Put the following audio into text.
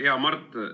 Hea Mart!